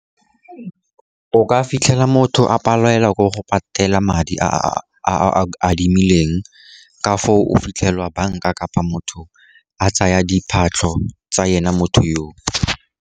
O ka fitlhela motho a palelwa ke go patela madi a a adimileng, ka foo o fitlhela banka kapa motho a tsaya diphatlho tsa ena motho yoo.